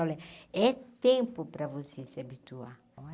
Olha, é tempo para você se habituar.